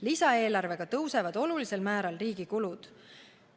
Lisaeelarvega tõusevad olulisel määral riigi kulud.